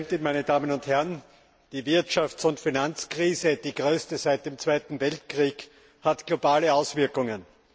Frau Präsidentin, meine Damen und Herren! Die Wirtschafts und Finanzkrise, die größte seit dem 2. Weltkrieg, hat globale Auswirkungen.